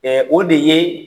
o de ye